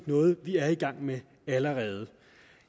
noget vi er i gang med allerede